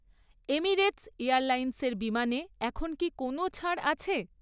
Emirates এয়ারলাইন্সের বিমানে এখন কি কোনও ছাড় আছে?